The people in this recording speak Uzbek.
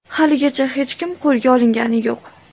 Haligacha hech kim qo‘lga olingani yo‘q.